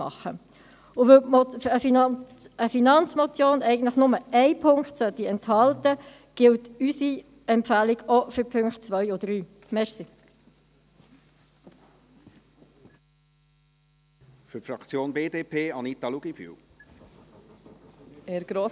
Weil eine Finanzmotion eigentlich nur einen Punkt enthalten sollte, gilt unsere Empfehlung auch für die Punkte 2 und 3.